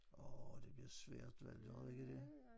Åh det bliver svært valgt tror du ikke det